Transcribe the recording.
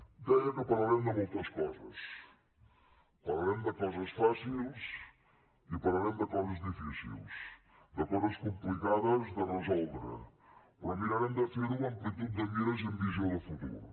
deia que parlarem de moltes coses parlarem de coses fàcils i parlarem de coses difícils de coses complicades de resoldre però mirarem de fer ho amb amplitud de mires i amb visió de futur